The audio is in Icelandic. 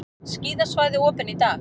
Skíðasvæði opin í dag